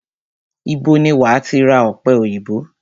Ibo ni wàá ti ra ọ̀pẹ òyìnbó?